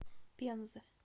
пензы